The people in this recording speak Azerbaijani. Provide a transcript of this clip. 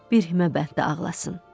Bir himə bənddə ağlasın.